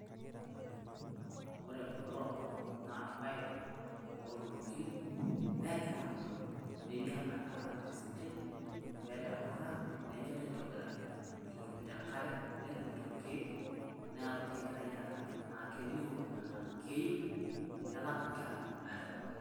Ore kulo naa irpaek ootuunoki negira aabulu. Nelio enaa keramata esidai, keeta emurra nenyori aitobiraki ketumito enkare netumito ilkiek niaku kegirai aaramat naa kelio enaa keiu, kenap nkera aitobiraki.